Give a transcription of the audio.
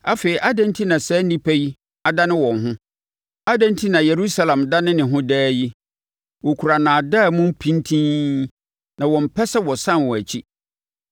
Afei adɛn enti na saa nnipa yi adane wɔn ho? Adɛn enti na Yerusalem dane ne ho daa yi? Wɔkura nnaadaa mu pintinn; na wɔmpɛ sɛ wɔsane wɔn akyi.